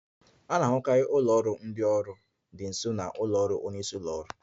A na-ahụkarị ụlọ ọrụ ndị ọrụ dị nso na ụlọ ọrụ onye isi ụlọ ọrụ